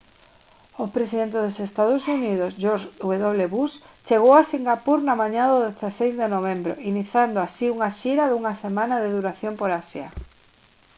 o presidente dos ee uu george w bush chegou a singapur na mañá do 16 de novembro iniciando así unha xira dunha semana de duración por asia